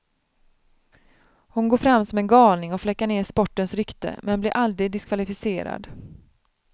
Hon går fram som en galning och fläckar ned sportens rykte men blir aldrig diskvalificerad.